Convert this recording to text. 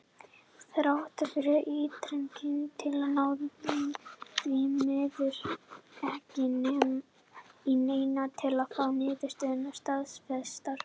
Þrátt fyrir ítrekaðar tilraunir náðist því miður ekki í neinn til að fá niðurstöðurnar staðfestar.